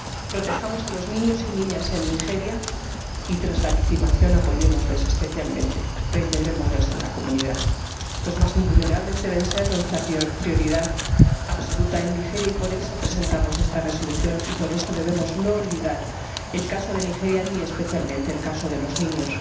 Protejamos a los niños y niñas en Nigeria y, tras la victimización, apoyémosles especialmente, reintegrémosles en la comunidad. Los más vulnerables deben ser nuestra prioridad absoluta en Nigeria y, por eso, presentamos esta Resolución y, por eso, no debemos olvidar el caso de Nigeria ni, especialmente, el caso de los niños.